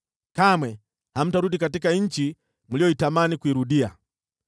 Kamwe hamtarudi katika nchi mliyotamani kuirudia.”